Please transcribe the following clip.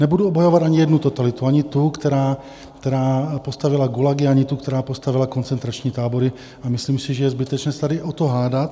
Nebudu obhajovat ani jednu totalitu, ani tu, která postavila gulagy, ani tu, která postavila koncentrační tábory, a myslím si, že je zbytečné se tady o to hádat.